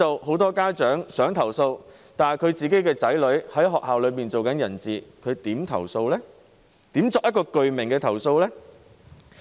很多家長想投訴，但由於他的子女在學校內是"人質"，他如何作具名投訴呢？